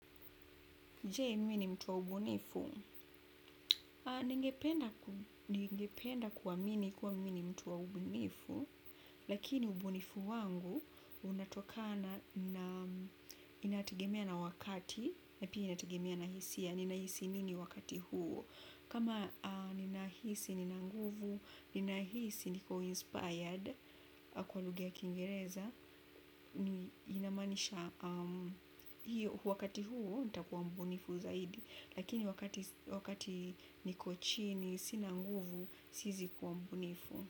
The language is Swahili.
Je mi ni mtu wa ubunifu, ningependa kuamini kuwa mi ni mtu wa ubunifu lakini ubunifu wangu unatokana inategemea na wakati na pia inategemea na hisia nina hisia gani wakati huoo. Kama ninahisi, nina nguvu, ninahisi, niko inspired, kwa lugha ya kingereza, inamanisha wakati huo, nitakuwa mbunifu zaidi, lakini wakati niko chini, sina nguvu, siezi kuwa mbunifu.